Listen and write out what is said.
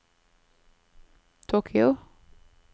Tokyo